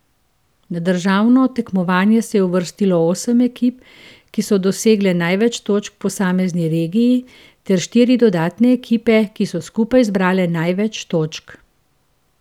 Na državno tekmovanje se je uvrstilo osem ekip, ki so dosegle največ točk v posamezni regiji, ter štiri dodatne ekipe, ki so skupno zbrale največ točk.